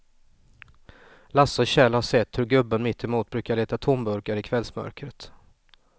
Lasse och Kjell har sett hur gubben mittemot brukar leta tomburkar i kvällsmörkret.